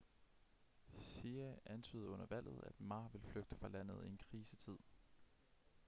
hsieh antydede under valget at ma ville flygte fra landet i en krisetid